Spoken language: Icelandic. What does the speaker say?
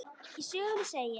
Í sögunni segir: